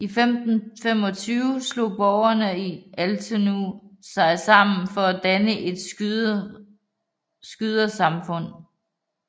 I 1525 slog borgere i Altenau sig sammen for at danne et skyderesamfund